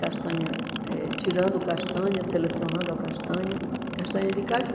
Castanha, eh tirando castanha, selecionando a castanha, castanha de caju.